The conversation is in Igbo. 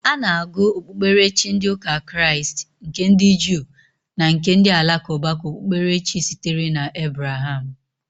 Ana agụ okpukperechi ndi ụka kraist, nke ndi juu na nke ndi alakụba ka okpukperechi sitere na Ebraham.